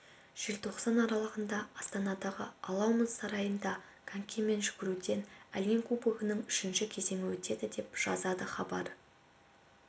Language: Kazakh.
желтоқсан аралығында астанадағы алау мұз сарайында конькимен жүгіруден әлем кубогының үшінші кезеңі өтеді деп жазады хабар